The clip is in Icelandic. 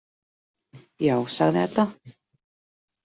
Já, sagði Edda.